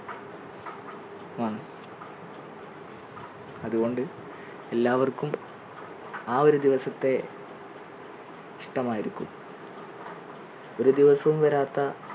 അതുകൊണ്ട് എല്ലാവർക്കും ആ ഒരു ദിവസത്തെ ഇഷ്ടമായിരിക്കും ഒരു ദിവസവും വരാത്ത